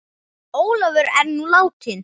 Ólafur er nú látinn.